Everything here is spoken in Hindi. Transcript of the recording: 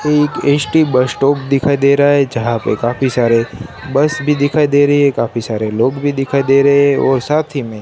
ये एक एसटी बस स्टॉप दिखाई दे रहा है जहां पे काफी सारे बस भी दिखाई दे रहे हैं काफी सारे लोग भी दिखाई दे रहे हैं और साथ ही में--